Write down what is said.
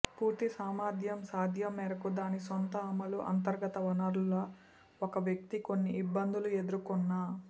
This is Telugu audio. పూర్తిసామర్థ్యం సాధ్యం మేరకు దాని సొంత అమలు అంతర్గత వనరుల ఒక వ్యక్తి కొన్ని ఇబ్బందులు ఎదుర్కున్న